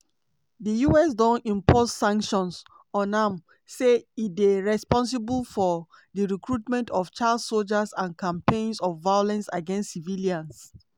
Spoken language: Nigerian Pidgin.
di us don impose sanctions on am say e dey responsible for "di recruitment of child sojas and campaigns of violence against civilians".